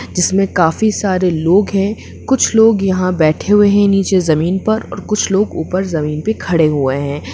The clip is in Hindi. जिसमे काफी सारे लोग है कुछ लोग यहा पर बैठे हुए हैं नीचे जमीन पर और कुछ लोग ऊपर जमीन पे खड़े हुए हैं।